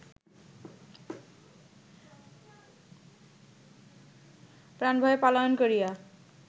প্রাণভয়ে পলায়ন করিয়া